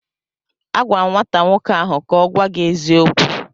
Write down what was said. Agwara m nwata nwoke ahụ ka o gwa gi eziokwu!